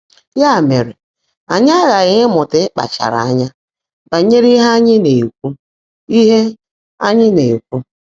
Yá mèrè, ányị́ ághághị́ ị́mụ́tá ị́kpáchaárá ányá bányèré íhe ányị́ ná-èkwú. íhe ányị́ ná-èkwú.